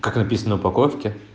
как написано на упаковке